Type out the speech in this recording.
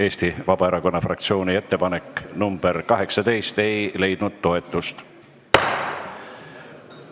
Eesti Vabaerakonna fraktsiooni ettepanek nr 18 ei leidnud toetust.